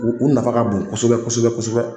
U u nafa ka bon kosɛbɛ kosɛbɛ kosɛbɛ